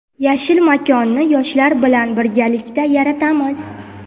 "Yashil makon"ni yoshlar bilan birgalikda yaratamiz!.